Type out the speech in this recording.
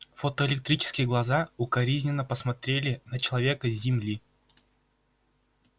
фотоэлектрические глаза укоризненно посмотрели на человека с земли